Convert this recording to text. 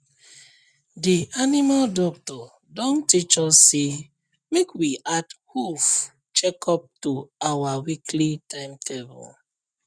the animal doctor don teach us say make we add hoof check up to our weekly timetable